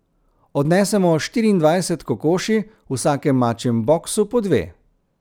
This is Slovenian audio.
Odnesemo štiriindvajset kokoši, v vsakem mačjem boksu po dve.